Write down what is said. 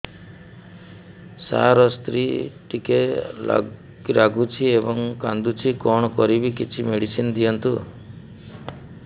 ସାର ସ୍ତ୍ରୀ ଟିକେ ରାଗୁଛି ଏବଂ କାନ୍ଦୁଛି କଣ କରିବି କିଛି ମେଡିସିନ ଦିଅନ୍ତୁ